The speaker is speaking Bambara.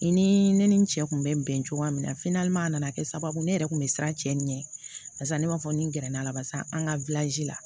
I ni ne ni n cɛ kun bɛ bɛn cogoya min na a nana kɛ sababu ne yɛrɛ kun bɛ siran cɛ ɲɛ barisa ne b'a fɔ ni gɛrɛ n'a la barisa an ka la